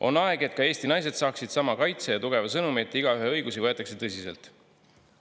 On aeg, et ka Eesti naised saaksid sama kaitse ja tugeva sõnumi, et igaühe õigusi võetakse tõsiselt.